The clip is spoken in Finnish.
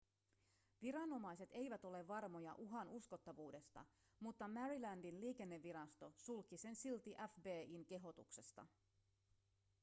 viranomaiset eivät ole varmoja uhan uskottavuudesta mutta marylandin liikennevirasto sulki sen silti fbi:n kehotuksesta